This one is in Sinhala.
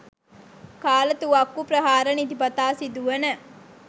කාලතුවක්කු ප්‍රහාර නිතිපතා සිදුවන